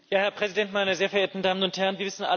Herr Präsident, meine sehr verehrten Damen und Herren!